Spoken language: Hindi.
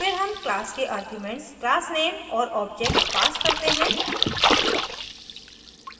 फिर हम class के आर्ग्यूमेंट्स class _ name और object pass करते हैं